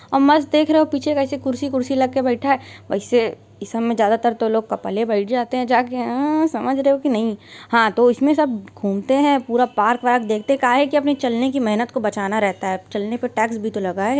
और मस्त देख रहे हो पीछे कैसे कुर्सी कुर्सी लगा के बैठा है वैसे इस में ज्यादातर तो लोग कपले बैठ जाते है जाके अह् समझ रहे हो की नहीं। हा तो इसमें सब घूमते है पूरा पार्क वार्क देखतें है काहे की अपने चलने की मेहनत को बचाना रहता है चलने पे टैक्स भी तो लगा है।